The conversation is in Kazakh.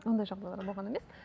ондай жағдайлар болған емес